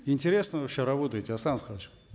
интересно вообще работаете